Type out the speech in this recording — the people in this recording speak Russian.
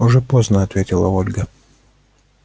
уже поздно ответила ольга